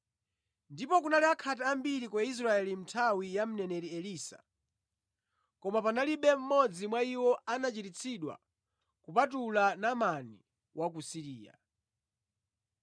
Ndipo kunali akhate ambiri ku Israeli mʼnthawi ya mneneri Elisa, koma panalibe mmodzi mwa iwo anachiritsidwa kupatula Naamani wa ku Siriya.”